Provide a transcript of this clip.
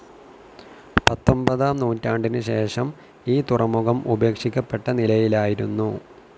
പത്തൊൻപതാം നൂറ്റാണ്ടിനുശേഷം ഈ തുറമുഖം ഉപേക്ഷിക്കപ്പെട്ട നിലയിലായിരുന്നു.